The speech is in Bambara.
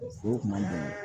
Foro kun ma bon